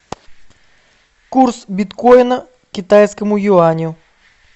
курс биткоина к китайскому юаню